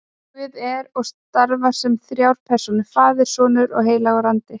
Guð er og starfar sem þrjár persónur, faðir og sonur og heilagur andi.